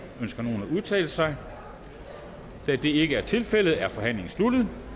ønsker nogen at udtale sig da det ikke er tilfældet er forhandlingen sluttet